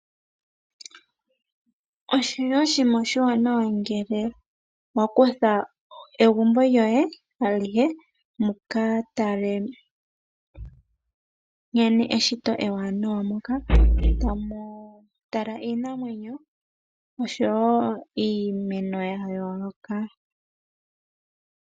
Oshili oshinima oshiwanawa ngele wa kutha egumbo lyoye alihe muka tale nkene eshito ewanawa, moka tamu tala iinamwenyo osho wo iimeno ya yooloka.